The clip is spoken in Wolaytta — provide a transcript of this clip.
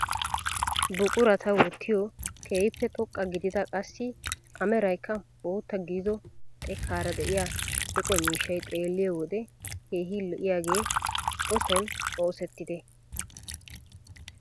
Buqurata wottiyoo keehippe xoqqa gidida qassi a meraykka bootta gidido xekkaara de'iyaa eqo miishshay xeelliyoo wode keehi lo"iyaage o soni oosettidee?